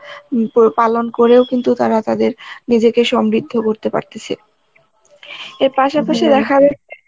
উম পো~ পালন করে কিন্তু তারা তাদের নিজেকে সমৃদ্ধ করতে পারতেসে. এর পাশাপাশি দেখা যাচ্ছে